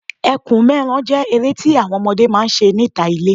Ẹkùn mẹ́ran jẹ́ eré tí àwọn ọmọdé máa ń ṣe níta ilé